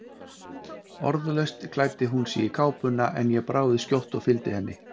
Orðalaust klæddi hún sig í kápuna, en ég brá við skjótt og fylgdi henni.